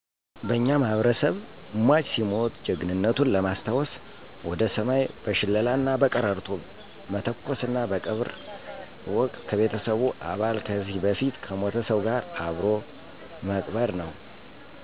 በእኛ ማህበረሰብ ሟች ሲሞት ጀግንነቱን ለማሰታወሰ ወደ ሰማይ በሸለላና በቀረርቶ መተኮሰና በቀብር ወቅት ከቤተሰቡ አባል ከዚህ በፊት ከሞተ ሰው ጋር አብሮ መቅበር ነው።